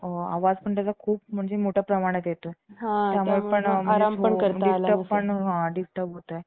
आवाज पण त्याचा म्हणजे खूप मोठ्या प्रमाणात येतो हा त्यामुळे झोप पण disturb होते